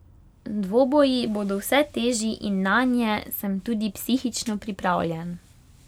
Dvoboji bodo vse težji in nanje sem tudi psihično pripravljen.